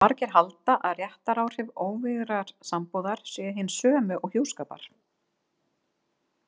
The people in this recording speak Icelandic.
Margir halda að réttaráhrif óvígðrar sambúðar séu hin sömu og hjúskapar.